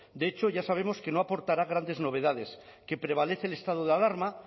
de hecho ya sabemos que no aportará grandes novedades que prevalece el estado de alarma